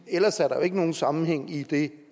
ellers er der ikke nogen sammenhæng i det